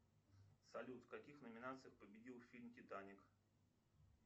салют в каких номинациях победил фильм титаник